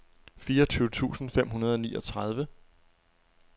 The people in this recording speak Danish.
fireogtyve tusind fem hundrede og niogtredive